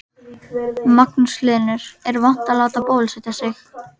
Magnús Hlynur: Er vont að láta bólusetja sig?